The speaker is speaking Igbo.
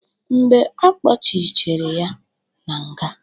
Mgbe akpochichere ya na nga.